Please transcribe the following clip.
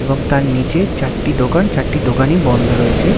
এবং তার নিচে চারটি দোকান চারটি দোকান ই বন্ধ রয়েছে ।